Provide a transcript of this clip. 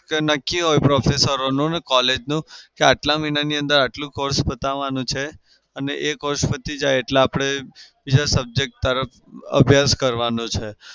નક્કી હોય professor નું અને collage નું કે આટલા મહિનાની અંદર આટલું course પતાવવાનો છે અને એ course પતી જાય એટલે આપડે બીજા subject તરફ અભ્યાસ કરવાનો છે.